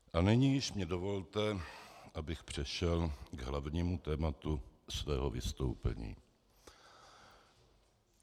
A nyní již mně dovolte, abych přešel k hlavnímu tématu svého vystoupení.